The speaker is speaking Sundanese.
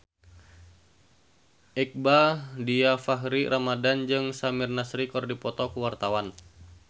Iqbaal Dhiafakhri Ramadhan jeung Samir Nasri keur dipoto ku wartawan